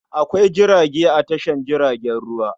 Akwai jirage a tashar jiragen ruwa.